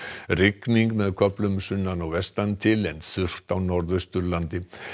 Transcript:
rigning með köflum sunnan og vestan til en þurrt á Norðausturlandi